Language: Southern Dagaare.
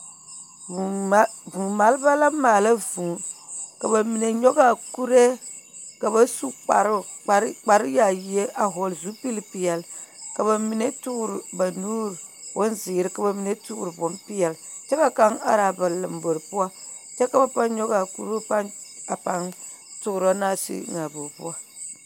Vŭŭ mal vŭŭ maleba la maala vŭŭ, ka ba mine nyɔg'a kuree ka ba su kparoo kpare kparyaayie a hɔɔl zupilpeɛl, ka ba mine toor ba nuur bonzeer, ka ba mine toor bompeɛl. Kyɛ ka kaŋ ar'a ba lombor poɔ kyɛ ka ba pãã nyɔg'a kuruu pãã a pãã toorɔ naa sig eŋ'a a boo poɔ.